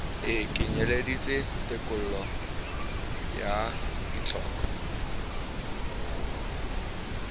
e kenyeleditse tekolo ya ditlhoko